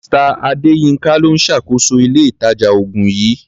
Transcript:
Mr. Adéyínká ló ń ṣàkóso ilé-ìtàjà-oògùn yìí.